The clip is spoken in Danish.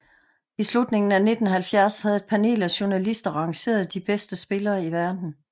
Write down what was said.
I slutningen af 1970 havde et panel af journalister rangeret de bedste spillere i verden